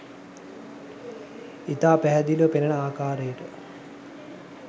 ඉතා පැහැදිලිව පෙනෙන ආකාරයට